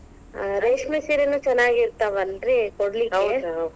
ಹಾ ಹಾ ರೇಷ್ಮಿ ಸೀರಿನು ಚೆನ್ನಾಗಿತಾ೯ವಲ್ರಿ ಕೊಡಲಿಕ್ಕೆ.